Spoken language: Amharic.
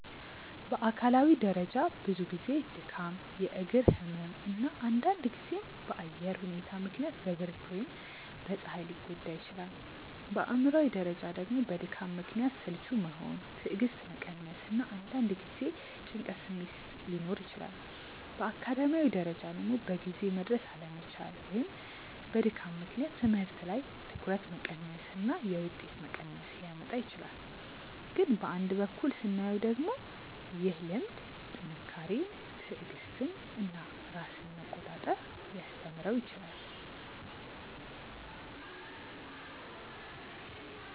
በአካላዊ ደረጃ ብዙ ጊዜ ድካም፣ የእግር ህመም እና አንዳንድ ጊዜም በአየር ሁኔታ ምክንያት በብርድ ወይም በፀሐይ ሊጎዳ ይችላል። በአእምሯዊ ደረጃ ደግሞ በድካም ምክንያት ስልቹ መሆን፣ ትዕግስት መቀነስ እና አንዳንድ ጊዜ የጭንቀት ስሜት ሊኖር ይችላል። በአካዳሚያዊ ደረጃ ደግሞ በጊዜ መድረስ አለመቻል ወይም በድካም ምክንያት ትምህርት ላይ ትኩረት መቀነስ እና የውጤት መቀነስ ሊያመጣ ይችላል። ግን በአንድ በኩል ስናየው ደግሞ ይህ ልምድ ጥንካሬን፣ ትዕግስትን እና ራስን መቆጣጠር ሊያስተምረው ይችላል